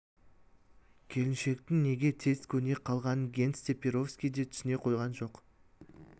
келіншектің неге тез көне қалғанын генс те перовский де түсіне қойған жоқ